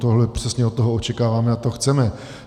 Tohle přesně od toho očekáváme a to chceme.